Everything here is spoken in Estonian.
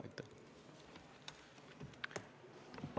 Aitäh!